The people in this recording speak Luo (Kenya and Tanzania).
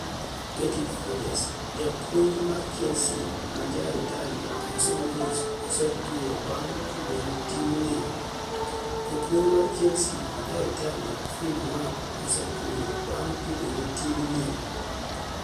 (Getty images)Japuonij mar Chelsea ma Ja-Italia Jose mourice osetueyo banig' tugo ni e timni e. Japuonij mar Chelsea ma Ja-ItalianoPhil mark osetueyo banig' tugo ni e timni e.